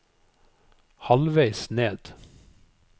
halvveis ned